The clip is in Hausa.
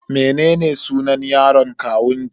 Mene sunan yaron kawunki?